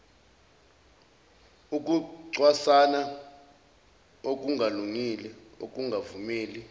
ukucwasana okungalungile ukungavumeli